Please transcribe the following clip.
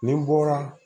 Ni n bɔra